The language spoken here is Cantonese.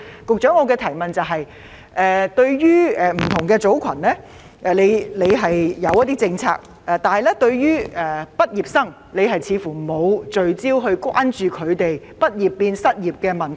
局長，雖然政府為不同組群訂立了相應政策，但對於畢業生，政府似乎沒有特別關注他們"畢業變失業"的問題。